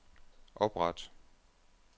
opret